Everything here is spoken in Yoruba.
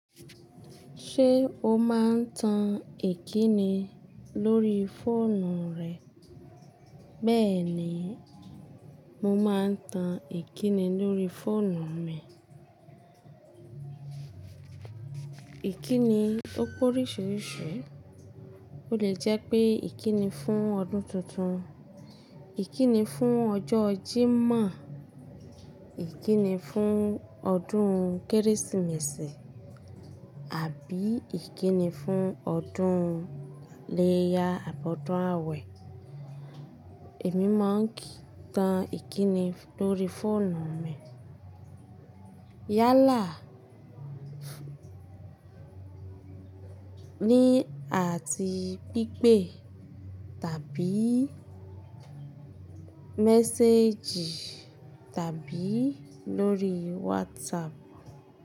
Ṣé o máa ń tan ìkíni lórí fóònù rẹ? Bẹ́ẹ̀ ni, mo máa ń tan ìkíni lórí fóònù mi. Ìkíni ó pé oríṣiríṣi. Ó lè jẹ́ pé ìkíni fún ọdún tuntun, ìkíni fún ọjọ́ Jímọ̀, ìkíni fún ọdún Kérésìmesì, àbí ìkíni fún ọdún iléyá àbi odun àwẹ̀. Èmi máa ń tan ìkíni lórí fóònù mi. Yálà, ní àti pípé tàbí méséjì tàbí lórí WhatsApp.